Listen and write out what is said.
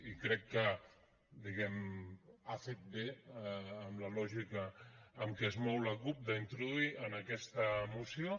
i crec que diguem ne ha fet bé amb la lògica en què es mou la cup d’introduir en aquesta moció